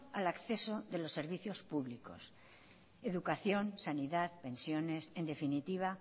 al acceso de los servicios públicos educación sanidad pensiones en definitiva